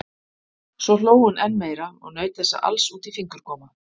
Svo hló hún enn meira og naut þessa alls út í fingurgóma.